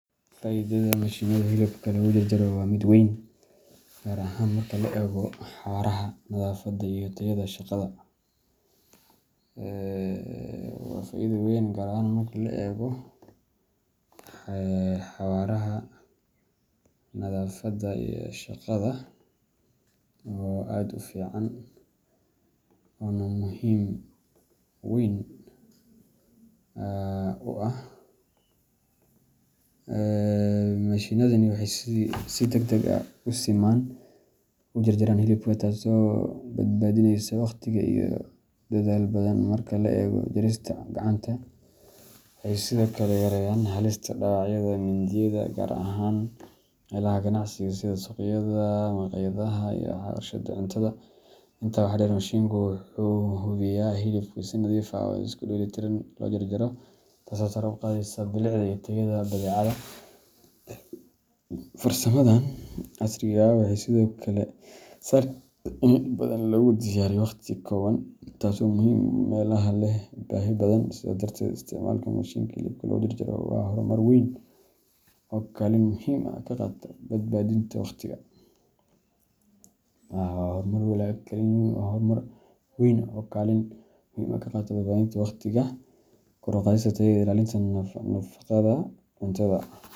Faa’iidada mashiinnada hilibka lagu jarjaro waa mid weyn, gaar ahaan marka la eego xawaaraha, nadaafadda, iyo tayada shaqada. Mashiinnadani waxay si degdeg ah oo siman u jarjaraan hilibka, taasoo badbaadinaysa waqti iyo dadaal badan marka loo eego jarista gacanta. Waxay sidoo kale yareeyaan halista dhaawacyada mindiyaha, gaar ahaan meelaha ganacsiga sida suuqyada, maqaayadaha, iyo warshadaha cuntada. Intaa waxaa dheer, mashiinka wuxuu hubiyaa in hilibka si nadiif ah oo isku-dheellitiran loo jaro, taasoo sare u qaadaysa bilicda iyo tayada badeecadda. Farsamadan casriga ah waxay sidoo kale sahlaysaa in hilib badan lagu diyaariyo waqti kooban, taasoo muhiim u ah meelaha leh baahi badan. Sidaas darteed, isticmaalka mashiinka hilibka lagu jarjaro waa horumar weyn oo kaalin muhiim ah ka qaata badbaadinta waqtiga, kor u qaadista tayada, iyo ilaalinta nadaafadda cuntada.